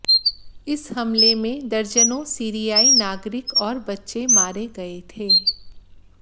इस हमले में दर्जनों सीरियाई नागरिक और बच्चे मारे गए थे